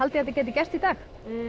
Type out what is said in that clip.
þetta gæti gerst í dag